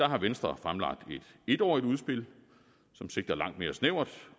har venstre fremlagt et etårigt udspil som sigter langt mere snævert